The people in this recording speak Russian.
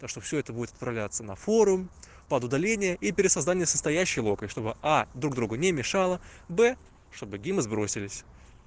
то что всё это будет отправляться на форум под удаление и пересоздание состоящей локой чтобы а друг другу не мешало б чтобы гимн сбросились